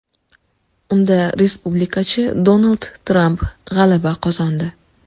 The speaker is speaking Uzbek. Unda respublikachi Donald Tramp g‘alaba qozondi .